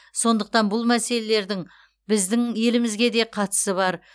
сондықтан бұл мәселелердің біздің елімізге де қатысы бар